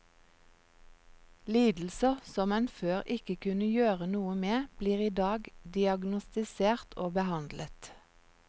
Lidelser som en før ikke kunne gjøre noe med, blir i dag diagnostisert og behandlet.